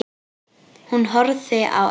Hún horfði á Örn.